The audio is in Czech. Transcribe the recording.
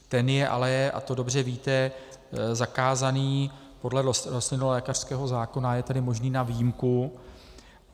Ten je ale, a to dobře víte, zakázaný podle rostlinolékařského zákona, je tedy možný na výjimku.